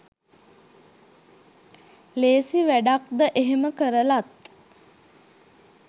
ලේසි වැඩක්ද එහෙම කරලත්